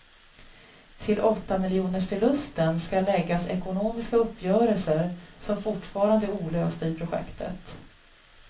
Till åttamiljonersförlusten skall läggas ekonomiska uppgörelser som fortfarande är olösta i projektet.